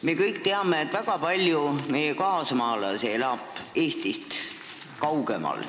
Me kõik teame, et väga palju meie kaasmaalasi elab Eestist kaugemal.